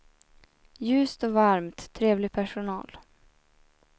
Ljust och varmt, trevlig personal.